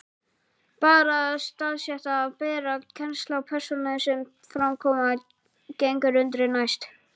Bara það að staðsetja og bera kennsl á persónurnar sem fram koma gengur undri næst.